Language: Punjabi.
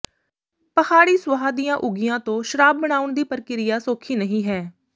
ਪਹਾੜੀ ਸੁਆਹ ਦੀਆਂ ਉਗੀਆਂ ਤੋਂ ਸ਼ਰਾਬ ਬਣਾਉਣ ਦੀ ਪ੍ਰਕਿਰਿਆ ਸੌਖੀ ਨਹੀਂ ਹੈ